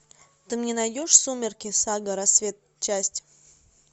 ты мне найдешь сумерки сага рассвет часть